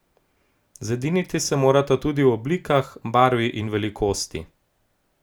Zediniti se morata tudi o oblikah, barvi in velikosti.